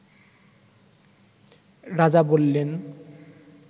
রাজা বললেন